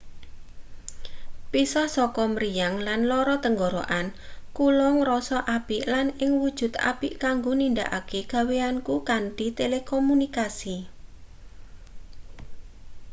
pisah saka mriyang lan lara tenggorokan kula ngrasa apik lan ing wujud apik kanggo nindakake gaweanku kanthi telekomunikasi